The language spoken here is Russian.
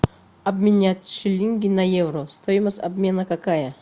обменять шиллинги на евро стоимость обмена какая